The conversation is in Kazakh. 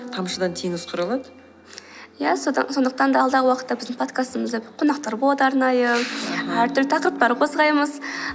тамшыдан теңіз құралады ия сондықтан алдағы уақытта біздің подкастымызда қонақтар болады арнайы әртүрлі тақырыптар қозғаймыз